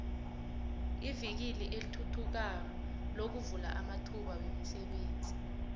ivikili elithuthukayo lovula amathuba womsebenzi